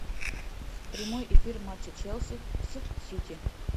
прямой эфир матча челси с сити